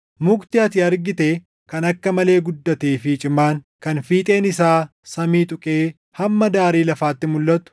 Mukni ati argite kan akka malee guddatee fi cimaan, kan fiixeen isaa samii tuqee hamma daarii lafaatti mulʼatu,